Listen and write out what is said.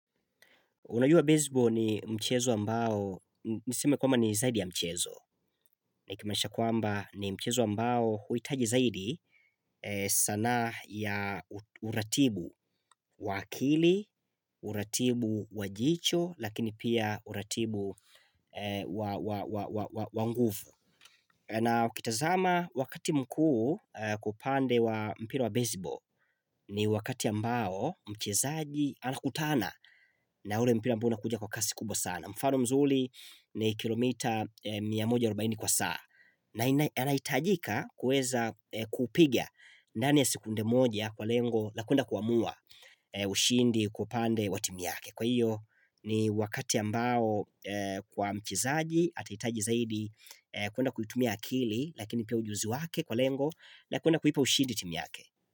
Unajua baseball ni mchezo ambao, niseme kwamba ni zaidi ya mchezo. Nikimanisha kwamba ni mchezo ambao huitaji zaidi sanaa ya uratibu waakili, uratibu wajicho, lakini pia uratibu wanguvu. Na ukitazama wakati mkuu kupande wa mpira wa baseball ni wakati ambao mchezaji anakutana na ule mpira ambao unakuja kwa kasi kubwa sana. Mfano mzuri ni kilomita mia moja arubaini kwa saa na anaitajika kuweza kupiga ndani ya sekunde moja kwa lengo Lakwenda kuamua ushindi kwa pande wa timu yake Kwa hiyo ni wakati ambao kwa mchezaji atahitaji zaidi kuenda kuitumia akili lakini pia ujuzi wake kwa lengo Lakuenda kuipa ushindi timu yake.